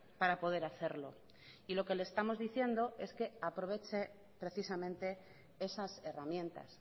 para poder hacerlo y lo que le estamos diciendo es que aproveche precisamente esas herramientas